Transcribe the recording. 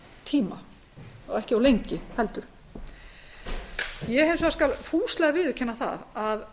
tíma og ekki of lengi ég skal hins vegar fúslega viðurkenna að